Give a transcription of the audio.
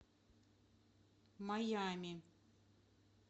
майами